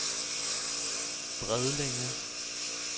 Bredlænge